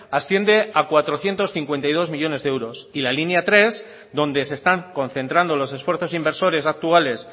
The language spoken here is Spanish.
asciende a cuatrocientos cincuenta y dos millónes de euros y la línea tres donde se están concentrando los esfuerzos inversores actuales